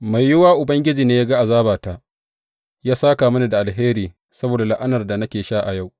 Mai yiwuwa Ubangiji yă ga azabata, yă sāka mini da alheri saboda la’anar da nake sha a yau.